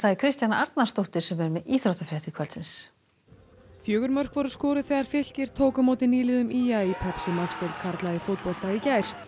Kristjana Arnarsdóttir er með íþróttafréttir fjögur mörk voru skoruð þegar Fylkir tók á móti nýliðum í a í Pepsi Max deild karla í fótbolta í gær